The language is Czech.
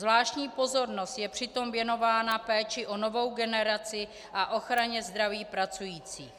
Zvláštní pozornost je přitom věnována péči o novou generaci a ochraně zdraví pracujících.